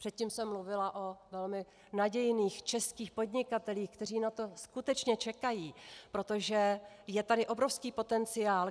Předtím jsem mluvila o velmi nadějných českých podnikatelích, kteří na to skutečně čekají, protože je tady obrovský potenciál.